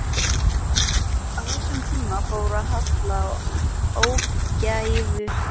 Á þessum tíma fór að halla á ógæfuhlið.